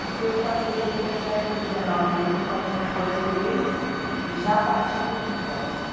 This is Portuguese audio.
Porque eu casei com dezessete, com dezenove anos, eu já tinha os dois meninos e já parti para o divórcio.